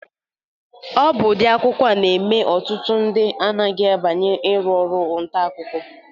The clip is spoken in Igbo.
Ọ bụ ụdị akụkọ a na-eme n'ọtụtụ ndị anaghị abanye iru ọrụ ntakụkọ.